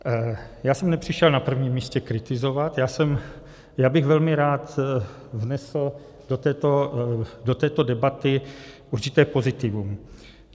Já jsem nepřišel na první místě kritizovat, já bych velmi rád vnesl do této debaty určité pozitivum.